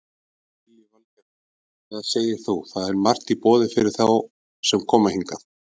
Lillý Valgerður: Hvað segir þú, það er margt í boði fyrir þá sem koma hingað?